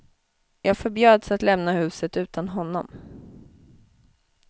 Jag förbjöds att lämna huset utan honom.